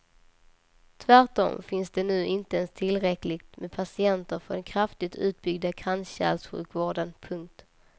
Tvärtom finns det nu inte ens tillräckligt med patienter för den kraftigt utbyggda kranskärlssjukvården. punkt